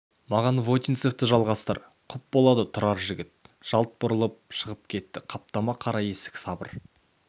маған вотинцевті жалғастыр құп болады тұрар жігіт жалт бұрылып шығып кетті қаптама қара есік сабыр